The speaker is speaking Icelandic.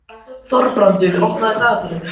Þorbrandur, opnaðu dagatalið mitt.